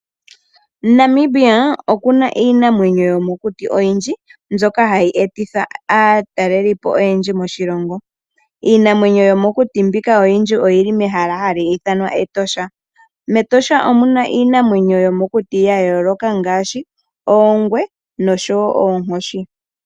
Namibia oku na iinamwenyo yomokuti oyindji mbyoka hayi e titha aatalelipo oyendji moshilongo. Iinamwenyo yomokuti mbika oyindji oyi li mehala ha li ithanwa Etosha. Metosha omu na iinamwenyo yomokuti ya yooloka ngaashi oongwe oshowo oonkoshi.